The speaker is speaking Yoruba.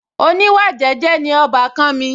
oníwà jẹ́jẹ́ ni ọbàkan mi